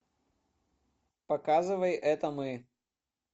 показывай это мы